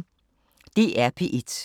DR P1